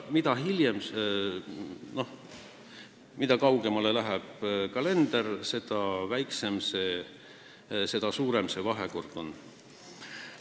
Ja mida kaugemale aasta algusest, seda suurem see suhe on.